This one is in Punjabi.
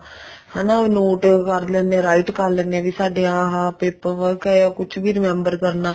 ਹਨਾ ਉਹ note ਕਰ ਲੈਂਦੇ ਹਾਂ write ਕਰ ਲੈਂਦੇ ਹਾਂ ਵੀ ਸਾਡਾ ਇਹ paper work ਹੈ ਕੁੱਛ ਵੀ remember ਕਰਨਾ